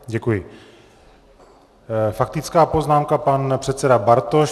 Faktická poznámka, pan předseda Bartoš.